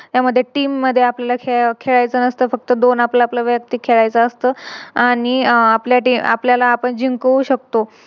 त्यामध्ये Team मध्ये आपल्याला खेळायचं नसत फक्त दोन आपलं आपलं वेळात खेळायचं असत आणि अह आपल्या Team आपल्याला जिंकवू शकतो